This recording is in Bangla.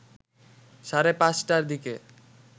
সাড়ে ৫ টার দিকে